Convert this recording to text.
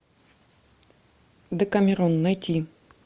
декамерон найти